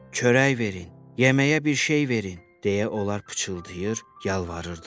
Çörək verin, yeməyə bir şey verin, deyə onlar pıçıldayır, yalvarırdılar.